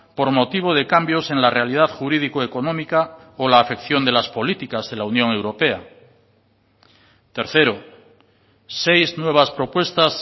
por motivo de cambios en la realidad jurídico económica o la afección de las políticas de la unión europea tercero seis nuevas propuestas